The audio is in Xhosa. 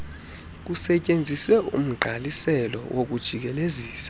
kusetyenziswe umgqaliselo wokujikelezisa